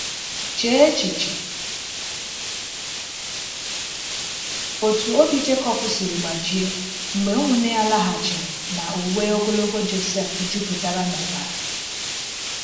Chee echiche otú obi Jekọb siri gbajie mgbe ụmụnne ya laghachiri na uwe ogologo Jọsef juputara n’ọbara!